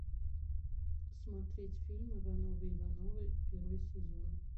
смотреть фильм ивановы ивановы первый сезон